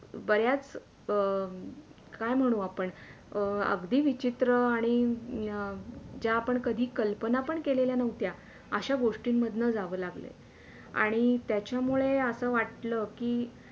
बऱ्याच अं काय म्हणू आपण अं अगदी विचित्र आणि जे आपण कधी कल्पना पण केल्या नव्हत्या अश्या गोष्टींन मधणं जावे लागलंय आणि त्याच्यामुळे असं वाटले की